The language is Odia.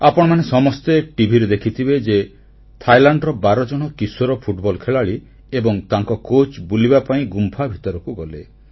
ଆପଣମାନେ ସମସ୍ତେ ଟିଭିରେ ଦେଖିଥିବେ ଯେ ଥାଇଲାଣ୍ଡର 12 ଜଣ କିଶୋର ଫୁଟବଲ ଖେଳାଳି ଏବଂ ତାଙ୍କ କୋଚ୍ ବୁଲିବା ପାଇଁ ଗୁମ୍ଫା ଭିତରକୁ ଗଲେ